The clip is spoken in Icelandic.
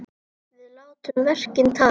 Við látum verkin tala!